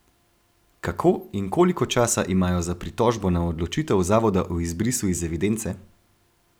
Kako in koliko časa imajo za pritožbo na odločitev zavoda o izbrisu iz evidence?